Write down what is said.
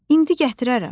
indi gətirərəm.